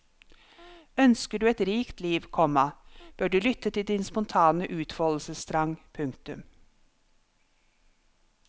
Ønsker du et rikt liv, komma bør du lytte til din spontane utfoldelsestrang. punktum